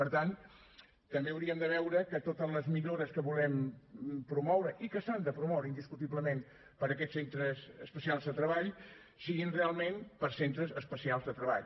per tant també hauríem de veure que totes les millores que volem promoure i que s’han de promoure indiscutiblement per a aquests centres especials de treball siguin realment per a centres especials de treball